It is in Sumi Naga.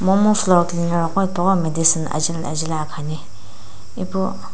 mo mu floor cleaner wo medicine ajaeli ajaeli akhani.